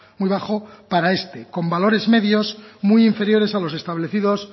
muy bajo para este con valores medios muy inferiores a los establecidos